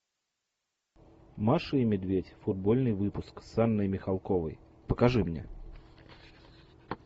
маша и медведь футбольный выпуск с анной михалковой покажи мне